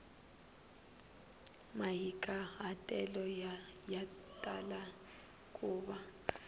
mahikahatelo ya tala ku va